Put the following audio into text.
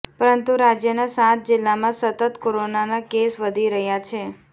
પરંતુ રાજ્યના સાત જિલ્લામાં સતત કોરોના કેસ વધી રહ્યા છે